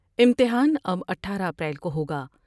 امتحان اب اٹھارہ اپریل کو ہوگا